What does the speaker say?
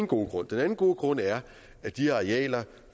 gode grund den anden gode grund er at de arealer